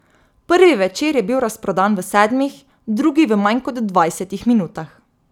Prvi večer je bil razprodan v sedmih, drugi v manj kot dvajsetih minutah.